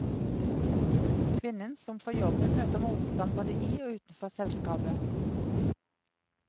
Kvinnen som får jobben, møter motstand både i og utenfor selskapet.